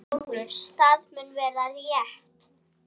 LÁRUS: Það mun vera- rétt.